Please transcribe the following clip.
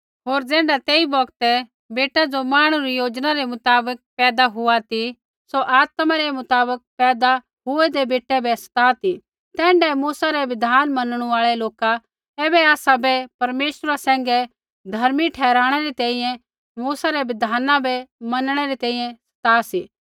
होर ज़ैण्ढा तेई बौगतै बेटा ज़ो मांहणु री योजना रै मुताबक पैदा हुआ ती सौ आत्मा रै मुताबक पैदा हुऐदै बेटै बै सता ती तैण्ढाऐ मूसा रै बिधान मनणु आल़ै लोका ऐबै आसाबै परमेश्वरा सैंघै धर्मी ठहराणै री तैंईंयैं मूसा रै बिधाना बै मनणै री तैंईंयैं सता सा